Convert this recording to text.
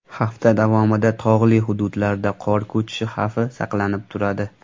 Hafta davomida tog‘li hududlarda qor ko‘chishi xavfi saqlanib turadi.